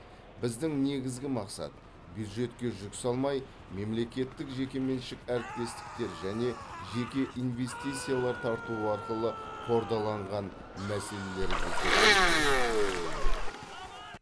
біздің негізгі мақсат бюджетке жүк салмай мемлекеттік жекеменшік әріптестіктер және жеке инвестициялар тарту арқылы қордаланған мәселелерімізді шешу